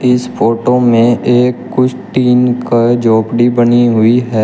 इस फोटो में एक कुछ तीन का झोपड़ी बनी हुई है।